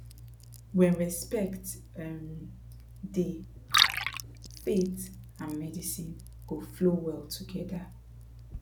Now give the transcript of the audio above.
when respect um dey faith and medicine go flow well together